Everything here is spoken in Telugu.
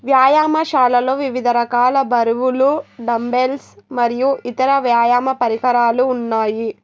వ్యాయామాశాలలో వివిధ రకాల బరువులు డంబెన్స్ మరియు ఇతర వ్యాయామ పరికరాలు ఉన్నాయి.